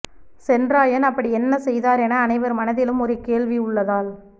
சென்ராயன் அப்படி என்ன செய்தார் என அனைவர் மனதிலும் ஒரு கேள்வி உள்ளதால்